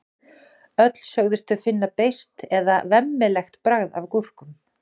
Öll sögðust þau finna beiskt eða vemmilegt bragð af gúrkum.